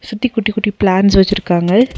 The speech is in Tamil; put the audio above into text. சுத்தி குட்டி குட்டி பிளான்ட்ஸ் வெச்சுருக்காங்க.